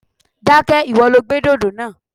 Dákẹ́! Ìwọ lo gbé dòdò náà.